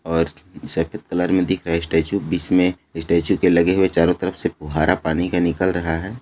और सफेद कलर मे दिख रहा है स्टेच्यु इसमें स्टेच्यु के लगे हुए चारो तरफ से फुवारा पानी का निकल रहा है।